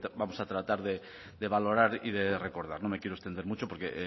vamos a tratar de valorar y de recordar no me quiero extender mucho porque